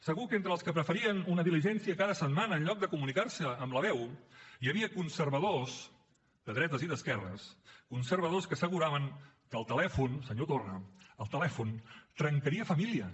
segur que entre els que preferien una diligència cada setmana en lloc de comunicar se amb la veu hi havia conservadors de dretes i d’esquerres que asseguraven que el telèfon senyor torra trencaria famílies